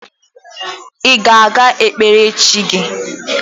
Ị ga-aga kpere chi gị?